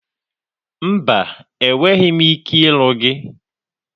Mba, enweghị m ike ịlụ gị.